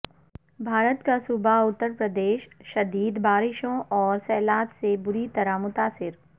بھارت کا صوبہ اتر پردیش شدید بارشوں اور سیلاب سے بری طرح متاثر